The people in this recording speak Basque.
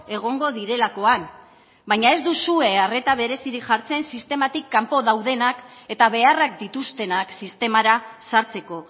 egongo direlakoan baina ez duzue arreta berezirik jartzen sistematik kanpo daudenak eta beharrak dituztenak sistemara sartzeko